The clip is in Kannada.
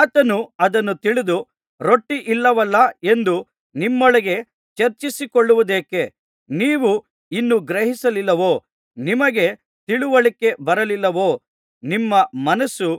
ಆತನು ಅದನ್ನು ತಿಳಿದು ರೊಟ್ಟಿಯಿಲ್ಲವಲ್ಲಾ ಎಂದು ನಿಮ್ಮೊಳಗೆ ಚರ್ಚಿಸಿಕೊಳ್ಳುವುದೇಕೆ ನೀವು ಇನ್ನೂ ಗ್ರಹಿಸಲಿಲ್ಲವೋ ನಿಮಗೆ ತಿಳಿವಳಿಕೆ ಬರಲಿಲ್ಲವೋ ನಿಮ್ಮ ಮನಸ್ಸು